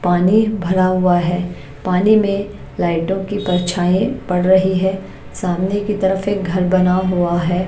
पानी भरा हुआ है पानी में लाइटों की परछाई पड़ रही है सामने की तरफ एक घर बना हुआ है।